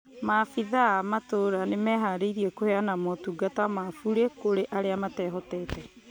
Mafithaa a matũra nĩmeharĩirie kũheana motungata ma burĩ kũrĩ arĩa matehotete